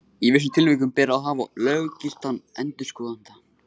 Í vissum tilvikum ber að hafa löggiltan endurskoðanda.